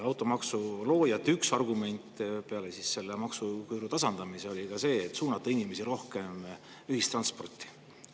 Automaksu loojate üks argument peale maksuküüru tasandamise oli suunata inimesi rohkem ühistransporti.